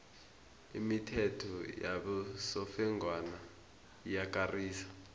imithetho yabosofengwana iyakarisa